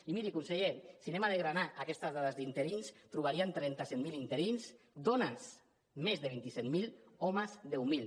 i miri conseller si anem a desgranar aquestes dades d’interins trobaríem trenta set mil interins dones més de vint set mil homes deu mil